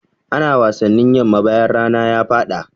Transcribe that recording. Ana wasannin yamma bayan rana ya faɗa.